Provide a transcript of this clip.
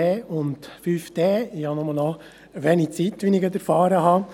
Ich habe als zweiter Antragsteller nur noch wenig Zeit, wie ich erfahren habe.